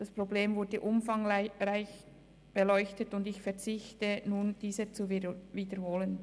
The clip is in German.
Das Problem wurde umfangreich beleuchtet, und ich verzichte auf Wiederholungen.